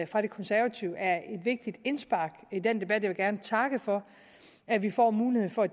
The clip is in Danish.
fra de konservative er et vigtigt indspark i den debat jeg vil gerne takke for at vi får muligheden for